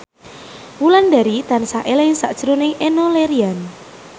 Wulandari tansah eling sakjroning Enno Lerian